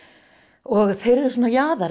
og þeir eru svona